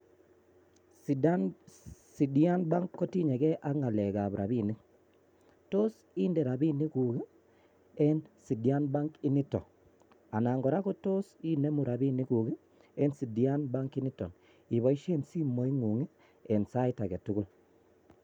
Sidian Bank kotinye gee ak ngalekab rabinik, tos indee rabinikuk eng sidian bank initon ?anan kora kotos inemu rabinikuk eng sidian bank initon I?iboishien simoingung eng sait agetugul.